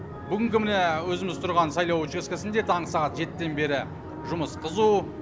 бүгінгі міне өзіміз тұрған сайлау учаскесінде таңғы сағат жетіден бері жұмыс қызу